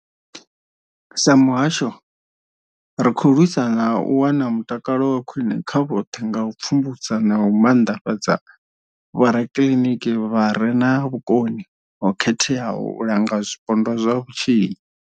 Sa muhasho, ri khou lwisa u wana mutakalo wa khwine kha vhoṱhe nga u pfumbudza na u maanḓafhadza vhorakiliniki vha re na vhukoni ho khetheaho u langa zwipondwa zwa vhutshinyi.